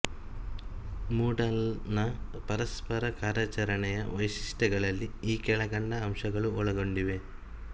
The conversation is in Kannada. ಮೂಡಲ್ ನ ಪರಸ್ಪರ ಕಾರ್ಯಾಚರಣೆಯ ವೈಶಿಷ್ಟ್ಯಗಳಲ್ಲಿ ಈ ಕೆಳಕಂಡ ಅಂಶಗಳು ಒಳಗೊಂಡಿವೆ